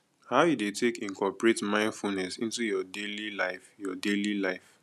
how you dey take incorporate mindfulness into your daily life your daily life